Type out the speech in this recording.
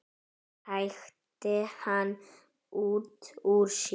hrækti hann út úr sér.